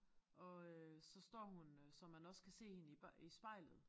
Og øh så står hun øh så man også kan se hende i i spejlet